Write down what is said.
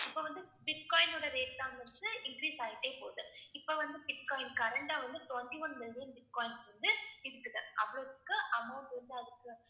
இப்ப வந்து பிட்காயினோட rate தான் வந்துட்டு increase ஆயிட்டே போது. இப்ப வந்து பிட்காயின் current ஆ வந்து twenty-one million பிட்காயின்ஸ் வந்து இருக்குது. அவ்ளோத்துக்கும் amount வந்து அதுக்கு